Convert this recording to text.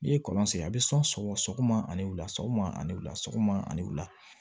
N'i ye kɔlɔn sen a bɛ sɔn sɔgɔ sɔgɔ a ni wula sɔgɔma ani wula sɔgɔma ani wula